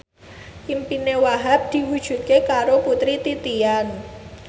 impine Wahhab diwujudke karo Putri Titian